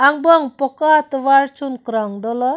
angbong poka atovar chunkrong dolo.